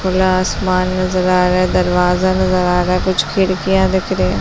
खुला आसमान नजर आ रहा है दरवाज़ा नजर आ रहा है कुछ खिड़कियाँ दिख रही हैं ।